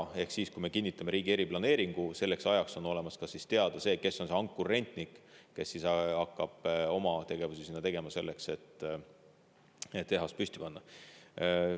Ehk selleks ajaks, kui me kinnitame riigi eriplaneeringu, on teada, kes on see ankurrentnik, kes hakkab oma tegevusi korraldama, et sinna tehas püsti panna.